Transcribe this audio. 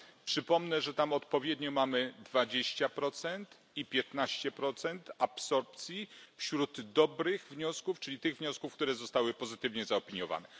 Przypomnę, że tam odpowiednio mamy dwadzieścia procent i piętnaście procent absorpcji wśród dobrych wniosków, czyli tych wniosków, które zostały pozytywnie zaopiniowane.